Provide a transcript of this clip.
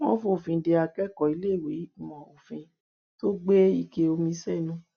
wọn fòfin de akẹkọọ iléèwé ìmọ òfin tó gbé ike omi sẹnu